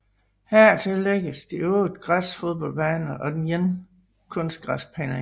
Hertil tillægges de 8 græsfodboldbaner og den ene kunstgræsbane